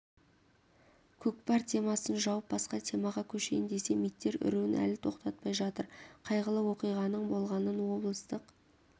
көкпар темасын жауып басқа темаға көшейін десем иттер үруін әлі тоқтатпай жатыр қайғылы оқиғаның болғанын облыстық